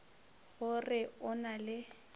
go re o na le